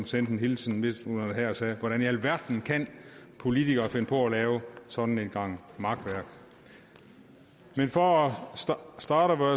sendt en hilsen hertil hvordan i alverden kan politikere finde på at lave sådan en gang makværk men for at